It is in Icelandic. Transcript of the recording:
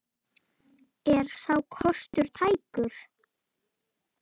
Er sá kostur tækur?